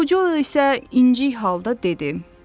Yuxucul isə incik halda dedi: